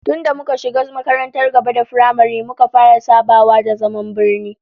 Tun da muka shiga makarantar gaba da firamare muka fara sabawa da zaman birni